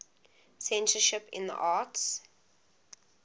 censorship in the arts